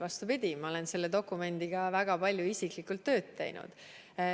Vastupidi, ma olen selle dokumendiga väga palju isiklikult tööd teinud.